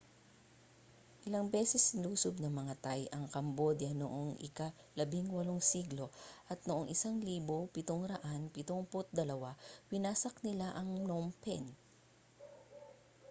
ilang beses nilusob ng mga thai ang cambodia noong ika-18 siglo at noong 1772 winasak nila ang phnom phen